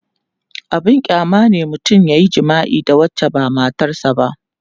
abun kyama ne mutum yayi jima'i da wacce ba matar sa ba